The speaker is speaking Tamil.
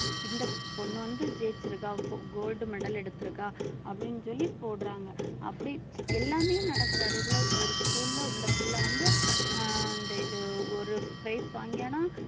இந்த பொண்ணு வந்து ஜெயிச்சுருக்கா gold medal எடுத்திருக்கா அப்படின்னு சொல்லி போடுறாங்க அப்படி எல்லாமே நடக்குது அதே போல ஒரு school ல இந்த பிள்ளை வந்து ஆஹ் இந்த இது ஒரு prize வாங்கியான்னா